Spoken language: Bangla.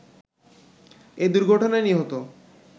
এ দুর্ঘটনায় নিহত